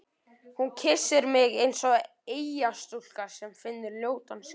Hún kyssir mig eins og eyjastúlka sem finnur ljótan skip